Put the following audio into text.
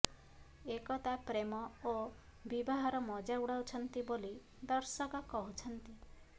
ଏକତା ପ୍ରେମ ଓ ବିବାହର ମଜା ଉଡ଼ାଉଛନ୍ତି ବୋଲି ଦର୍ଶକ କହୁଛନ୍ତି